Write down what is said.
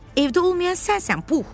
Evdə olmayan sənsən, Pux.